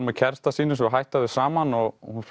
með kærasta sínum svo hætta þau saman og hún